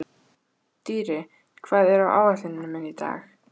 Dýri, hvað er á áætluninni minni í dag?